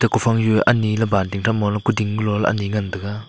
ag kufang du anyi key banting tham moh ley kuding kuloh la anyi ngantaga.